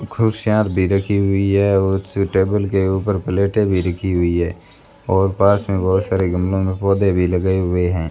खुर्सियां भी रखी हुई है और उस टेबल के ऊपर प्लेटें भी रखी हुई है और पास में बहुत सारे गमलों में पौधे भी लगे हुए हैं।